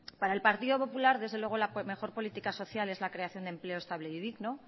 para el partido popular la mejor política social es la creación de empleo estable y digno